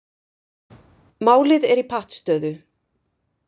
Málið er í pattstöðu